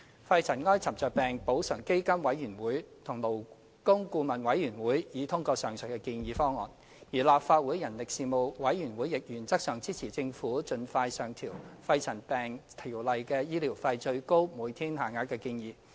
肺塵埃沉着病補償基金委員會及勞工顧問委員會已通過上述的建議方案，而立法會人力事務委員會亦原則上支持政府盡快上調《條例》的醫療費最高每天限額的建議。